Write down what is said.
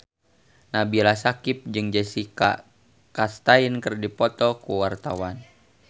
Nabila Syakieb jeung Jessica Chastain keur dipoto ku wartawan